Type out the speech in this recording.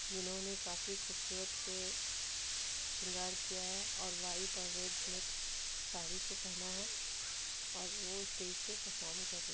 जिन्होंने काफी खुबसूरत से शृंगार किया है और वाइट और रेड मिक्स साड़ी को पहना है और वो स्टेज पे परफॉर्म कर रही--